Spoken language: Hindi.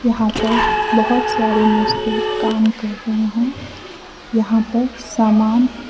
यहा पर बोहोत सारे मजदूर काम कर रहे हैं यहां पर सामान --